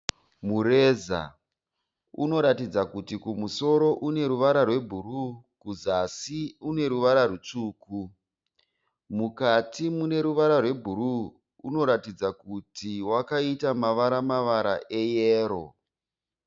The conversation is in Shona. Mureza unoratidza kuti kumusoro une ruvara rwebhuruu kuzasi uneruvara rutsvuku, mukati muneruvara rwebhuruu unoratidza kuti wakaita mavara-mavara eyero.